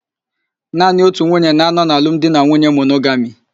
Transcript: Naanị otu nwunye na-anọ na alụmdinanwuye monogami.